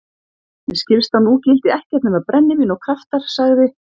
Mér skilst að nú gildi ekkert nema brennivín og kraftar, sagði